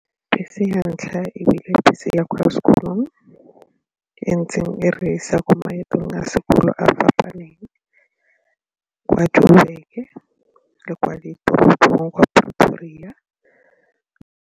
Bese ya ntlha ebile bese ya kwa sekolong e ntseng e re isa ko maetong a sekolo a fapaneng kwa Joburg-ke le kwa ditoropong kwa Pretoria.